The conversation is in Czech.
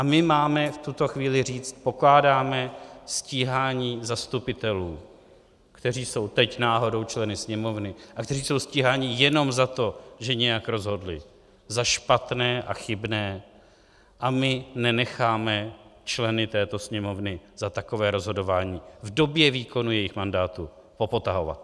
A my máme v tuto chvíli říct: pokládáme stíhání zastupitelů, kteří jsou teď náhodou členy Sněmovny a kteří jsou stíháni jenom za to, že nějak rozhodli, za špatné a chybné, a my nenecháme členy této Sněmovny za takové rozhodování v době výkonu jejich mandátu popotahovat.